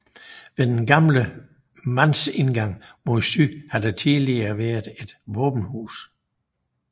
Ved den gamle mandsindgang mod syd har der tidligere været et våbenhus